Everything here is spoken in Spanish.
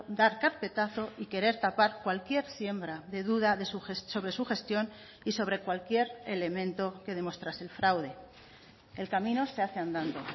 dar carpetazo y querer tapar cualquier siembra de duda sobre su gestión y sobre cualquier elemento que demostrase el fraude el camino se hace andando